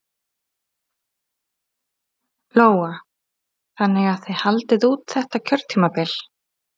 Lóa: Þannig að þið haldið út þetta kjörtímabil?